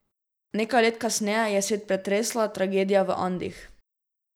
Nekaj let kasneje je svet pretresla tragedija v Andih.